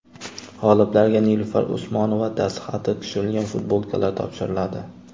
G‘oliblarga Nilufar Usmonova dastxati tushirilgan futbolkalar topshiriladi.